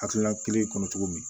Hakilina kelen kɔnɔ cogo min